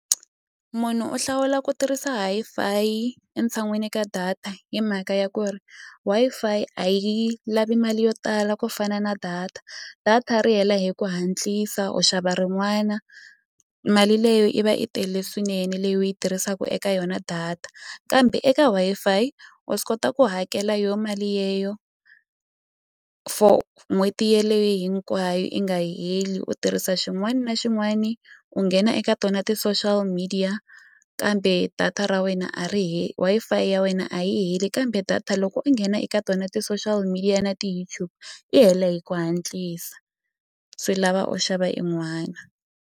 Munhu u hlawula ku tirhisa Wi-Fi yi e tshan'wini ka data hi mhaka ya ku ri Wi-Fi a yi lavi mali yo tala ku fana na data data ri hela hi ku hatlisa u xava rin'wana mali leyo i va i tele swinene leyi u yi tirhisaku eka yona data kambe eka Wi-Fi wa swi kota ku hakela yo mali yeyo for n'hweti yeleyo hinkwayo i nga heli u tirhisa xin'wani na xin'wani u nghena eka tona ti-social media kambe data ra wena a ri Wi-Fi ya wena a yi heli kambe data loko u nghena eka tona ti-social media na ti-YoutTube i hela hi ku hatlisa swi lava u xava i n'wana.